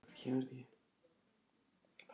Ekki einu sinni Lat.